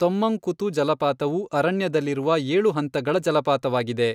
ತೊಮ್ಮಂಕುತು ಜಲಪಾತವು ಅರಣ್ಯದಲ್ಲಿರುವ ಏಳು ಹಂತಗಳ ಜಲಪಾತವಾಗಿದೆ.